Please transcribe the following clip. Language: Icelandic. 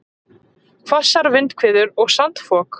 Hvassar vindhviður og sandfok